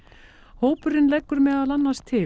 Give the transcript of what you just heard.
hópurinn leggur meðal annars til